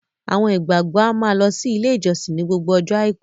Àwọn ìgbàgbọ́ a máa lọ sí ilé ìjósìn ni gbogbo ọjọ́ Àìkú.